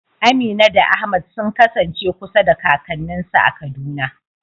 Amina da Ahmad sun kasance kusa da kakanninsu a Kaduna.